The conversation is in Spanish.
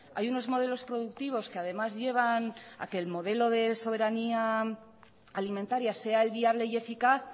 hay unos modelos productivos que además llevan a que le modelo de soberanía alimentaria sea el viable y eficaz